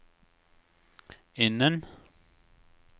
innen